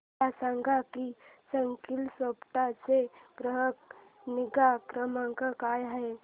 मला सांग की स्कीलसॉफ्ट चा ग्राहक निगा क्रमांक काय आहे